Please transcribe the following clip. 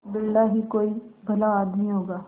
बिरला ही कोई भला आदमी होगा